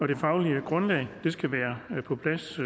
det faglige grundlag skal være på plads